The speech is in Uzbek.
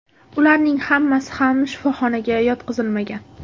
Ularning hammasi ham shifoxonaga yotqizilmagan.